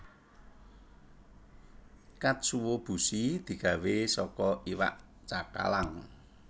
Katsuo bushi digawé saka iwak cakalang